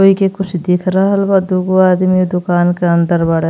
ये के कुछ दिख रहल बा। दुगो आदमी दुकान के अंदर बाड़े।